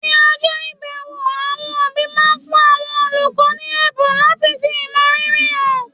ní ọjọ́ ìbẹ̀wò, àwọn òbí máa ń fún àwọn olùkọ́ ní ẹ̀bùn láti fi ìmọrírì hàn